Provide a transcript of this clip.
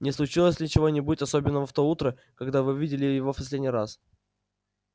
не случилось ли чего-нибудь особенного в то утро когда вы видели его в последний раз